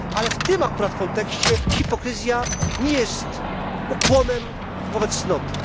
W tym akurat kontekście hipokryzja nie jest ukłonem wobec cnoty.